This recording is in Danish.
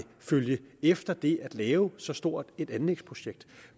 følge efter det at lave så stort et anlægsprojekt